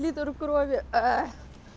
литр крови